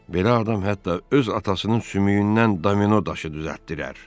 Belə adam hətta öz atasının sümüyündən domino daşı düzəltdirər.